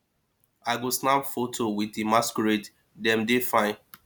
i go snap foto with di masquerades dem dey fine